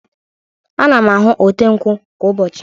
Ana m ahụ ote nkwụ kwa ụbọchị.